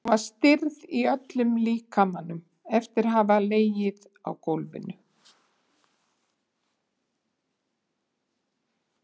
Hún var stirð í öllum líkamanum eftir að hafa legið á gólfinu.